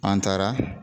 An taara